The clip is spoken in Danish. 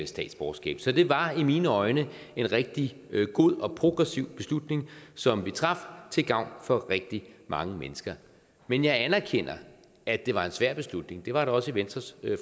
statsborgerskab så det var i mine øjne en rigtig god og progressiv beslutning som vi traf til gavn for rigtig mange mennesker men jeg anerkender at det var en svær beslutning det var det også i venstres